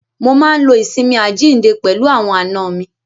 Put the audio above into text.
Mo máa ń lo ìsinmi àjíǹde pẹ̀lú àwọn àna mi.